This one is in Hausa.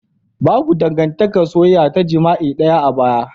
Babu dangantakar soyayya ta jima'i daya a baya.